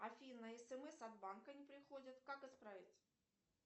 афина смс от банка не приходят как исправить